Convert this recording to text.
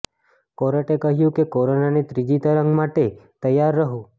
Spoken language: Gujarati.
કોર્ટે કહ્યું કે કોરોનાની ત્રીજી તરંગ માટે તૈયાર રહો